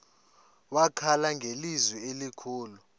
wakhala ngelizwi elikhulu